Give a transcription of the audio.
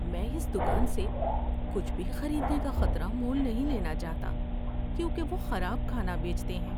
میں اس دکان سے کچھ بھی خریدنے کا خطرہ مول نہیں لینا چاہتا کیونکہ وہ خراب کھانا بیچتے ہیں۔